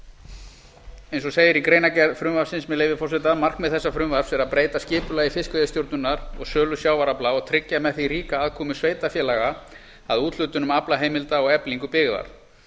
eins og segir í greinargerð frumvarpsins með leyfi forseta markmið frumvarps þessa er að breyta skipulagi fiskveiðistjórnar og sölu sjávarafla og tryggja með því ríka aðkomu sveitarfélaga að úthlutunum aflaheimilda og eflingu byggðar